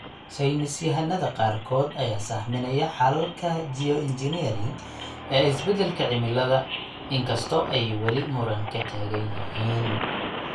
Saynis yahanada qaarkood ayaa sahaminaya xalalka geoengineering ee isbedelka cimilada, in kasta oo ay weli muran ka taagan yihiin.